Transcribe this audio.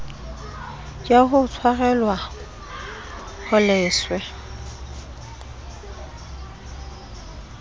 ya ho tshwarelwa ho leswe